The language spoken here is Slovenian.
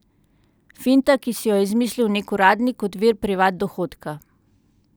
Finta, ki si jo je izmislil nek uradnik kot vir privat dohodka.